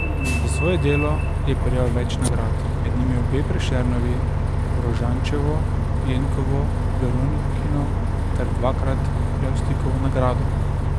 Za svoje delo je prejel več nagrad, med njimi obe Prešernovi, Rožančevo, Jenkovo, Veronikino ter dvakrat Levstikovo nagrado.